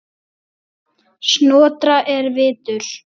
Snotra er vitur